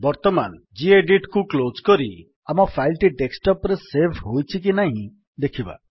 ବର୍ତ୍ତମାନ ଗେଡିଟ୍ କୁ କ୍ଲୋଜ୍ କରି ଆମ ଫାଇଲ୍ ଟି ଡେସ୍କଟପ୍ ରେ ସେଭ୍ ହୋଇଛି କି ନାହିଁ ଦେଖିବା